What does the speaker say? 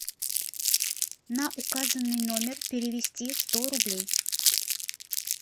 на указанный номер перевести сто рублей